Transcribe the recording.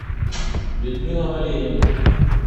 людмила валерьевна